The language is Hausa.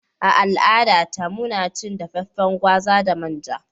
A al'adata, muna cin dafaffen gwaza da manja.